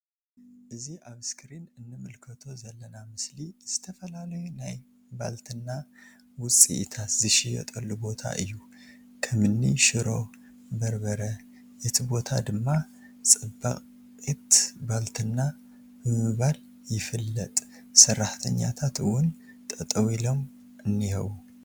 እዚ ኣብ እስክሪን ንምልከቶ ዘለና ምስሊ ዝተፈላለዩ ናይ ባልትና ውጺኢታት ዝሽየጠሉ ቦታ እዩ ከምኒ ሽሮ በርበር እቲ ቦታ ድማ ጸባቂት ባልትና ብምባል ይፍለጥ ።ሰራሕተኛታት እውን ጠጠው ኢሎም እኒሀዉ።